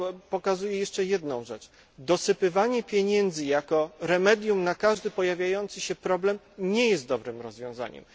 Pokazuje to jeszcze jedną rzecz dosypywanie pieniędzy jako remedium na każdy pojawiający się problem nie jest dobrym rozwiązaniem.